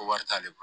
Ko wari t'ale bolo